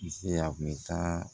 Misi a kun bɛ taa